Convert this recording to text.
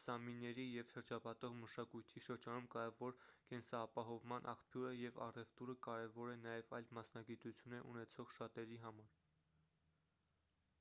սամիների և շրջապատող մշակույթի շրջանում կարևոր կենսապահովման աղբյուր է և առևտուրը կարևոր է նաև այլ մասնագիտություններ ունեցող շատերի համար